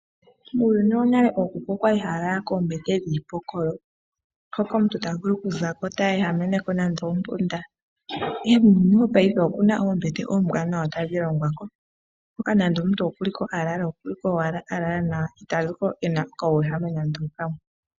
Muuyuni wo nale ookuku okwali haya lala koombete dhiipokolo hoka omuntu tavulu oku zako ta ehama nando oombunda, ihe muuyuni wo paife okuna oombete oombwanawa tadhi longwako hoka nando omuntu oku liko alala okuliko owala nawa, ita ziko ena nando oka uuwehame nando kamwe.